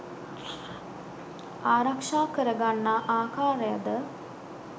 ආරක්‍ෂා කර ගන්නා ආකාරයද